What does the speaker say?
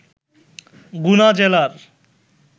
গুনা জেলার